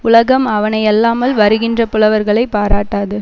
உலகம் அவனையல்லாமல் வருகின்ற புலவர்களைப் பாராட்டாது